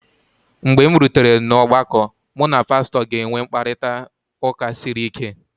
mgbe m rutere n’ọgbakọ, mụ na pastọ ga-enwe mkparịta ụka siri ike